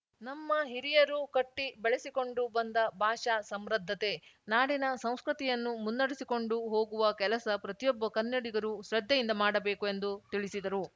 ನಮ್ಮ ಹಿರಿಯರು ಕಟ್ಟಿ ಬೆಳೆಸಿಕೊಂಡು ಬಂದ ಭಾಷಾ ಸಮೃದ್ಧತೆ ನಾಡಿನ ಸಂಸ್ಕೃತಿಯನ್ನು ಮುನ್ನಡೆಸಿಕೊಂಡು ಹೋಗುವ ಕೆಲಸ ಪ್ರತಿಯೊಬ್ಬ ಕನ್ನಡಿಗರೂ ಶ್ರದ್ಧೆಯಿಂದ ಮಾಡಬೇಕು ಎಂದು ತಿಳಿಸಿದರು